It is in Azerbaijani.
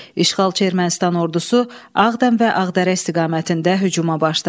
İşğalçı Ermənistan ordusu Ağdam və Ağdərə istiqamətində hücuma başladı.